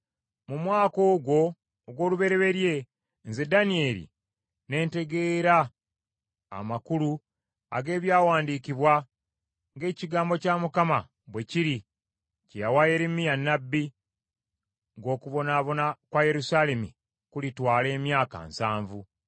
mu mwaka ogwo ogw’olubereberye, nze Danyeri ne ntegeera amakulu ag’ebyawandiikibwa, ng’ekigambo kya Mukama bwe kiri kye yawa Yeremiya nnabbi, ng’okubonaabona kwa Yerusaalemi kulitwala emyaka nsanvu.